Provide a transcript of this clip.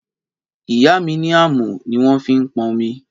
Ìyá mí ni àmọ ni wọn fi ń pọn òmí